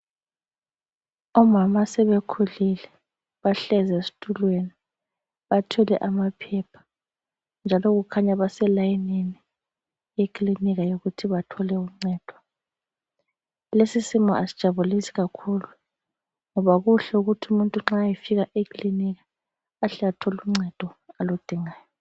Omama asebekhulile bahlezi esitulweni bathwele amaphepha njalo kukhanya baselayinini eklinika yokuthi bathole uncedo. Lesi simo asijabulisi kakhulu ngoba kuhle ukuthi umuntu nxa efika eklinika ahle athole uncedo aludingayo.